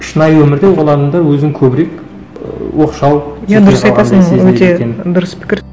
шынайы өмірде ол адамдар өзінің көбірек ы оқшау иә дұрыс айтасың өте дұрыс пікір